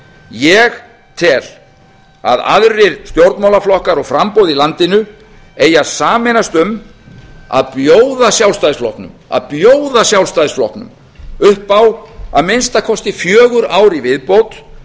ég tel að aðrir stjórnmálaflokkar og framboð í landinu eigi að sameinast um að bjóða sjálfstæðisflokknum upp á að minnsta kosti fjögur ár í